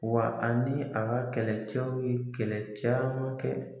Wa ani ka kɛlɛcɛw ye kɛlɛ caman kɛ.